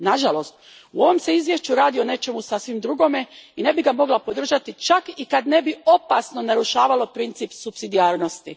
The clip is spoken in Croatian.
Nažalost, u ovom se izvješću radi o nečemu sasvim drugome i ne bih ga mogla podržati čak i kad ne bi opasno narušavalo princip supsidijarnosti.